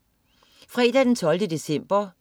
Fredag den 12. december